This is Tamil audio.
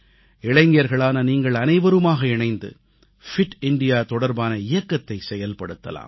இளைஞர்களான நீங்கள் அனைவருமாக இணைந்து உடல் நலம் மிக்க இந்தியா தொடர்பான இயக்கத்தை செயல்படுத்தலாம்